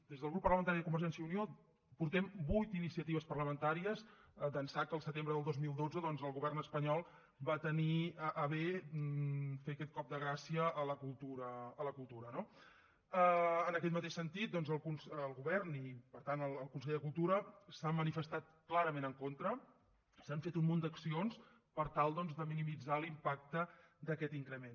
des del grup parlamentari de convergència i unió portem vuit iniciatives parlamentàries d’ençà que al setembre del dos mil dotze doncs el govern espanyol va tenir a bé fer aquest cop de gràcia a la cultura no en aquest mateix sentit doncs el govern i per tant el conseller de cultura s’han manifestat clarament en contra s’han fet un munt d’accions per tal de minimitzar l’impacte d’aquest increment